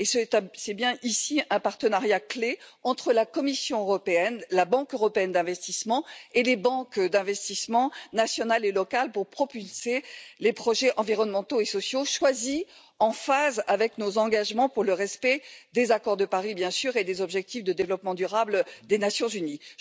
Il s'agit bien ici d'un partenariat clé entre la Commission européenne, la Banque européenne d'investissement et les banques d'investissement nationales et locales pour propulser les projets environnementaux et sociaux choisis, en phase avec nos engagements pour le respect des accords de Paris et des objectifs de développement durable des Nations unies.